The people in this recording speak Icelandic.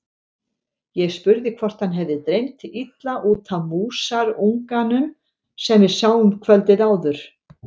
Ég spurði hvort hann hefði dreymt illa út af músarunganum sem við sáum kvöldið áður.